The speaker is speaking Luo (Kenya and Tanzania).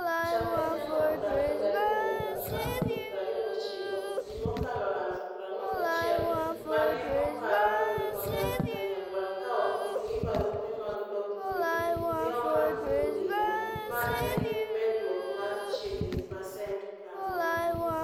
Chakre Januar 22 nyaka April 29, ji mokalo 41,000 ma ne oparo ni odak Kanyagwal ka ok gin gi barupe mag dok thurgi, ne omak gi obila, ma en medruok mar chiegni pasent 40